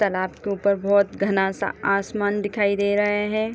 तालाब के ऊपर बहुत घना-सा आसमान दिखाई दे रहा है।